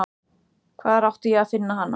Hvar átti ég að finna hana?